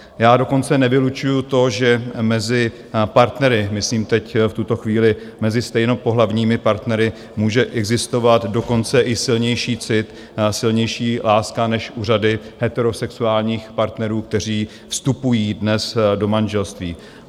Já dokonce nevylučuju to, že mezi partnery, myslím teď v tuto chvíli mezi stejnopohlavními partnery, může existovat dokonce i silnější cit, silnější láska než u řady heterosexuálních partnerů, kteří vstupují dnes do manželství.